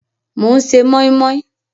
Mò ń ṣe mọ́í mọ́í